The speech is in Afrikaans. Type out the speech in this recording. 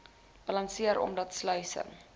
balanseer omdat sluise